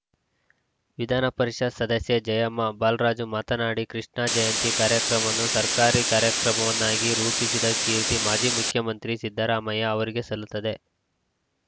ವಿಧಾನಪರಿಷತ್‌ ಸದಸ್ಯೆ ಜಯಮ್ಮ ಬಾಲರಾಜು ಮಾತನಾಡಿ ಕೃಷ್ಣ ಜಯಂತಿ ಕಾರ್ಯಕ್ರಮವನ್ನು ಸರ್ಕಾರಿ ಕಾರ್ಯಕ್ರಮವನ್ನಾಗಿ ರೂಪಿಸಿದ ಕೀರ್ತಿ ಮಾಜಿ ಮುಖ್ಯಮಂತ್ರಿ ಸಿದ್ದರಾಮಯ್ಯ ಅವರಿಗೆ ಸಲ್ಲುತ್ತದೆ